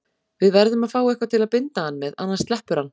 Við verðum að fá eitthvað til að binda hann með, annars sleppur hann.